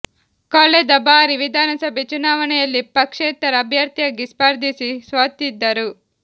ಕಳೆದ ಬಾರಿ ವಿಧಾನಸಭೆ ಚುನಾವಣೆ ಯಲ್ಲಿ ಪಕ್ಷೇತರ ಅಭ್ಯರ್ಥಿಯಾಗಿ ಸ್ಪರ್ಧಿಸಿ ಸೋತಿದ್ದರು